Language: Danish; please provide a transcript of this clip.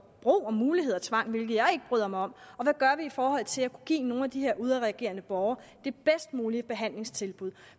muligheden tvang hvilket jeg ikke bryder mig om og hvad gør vi i forhold til at kunne give nogle af de her udadreagerende borgere det bedst mulige behandlingstilbud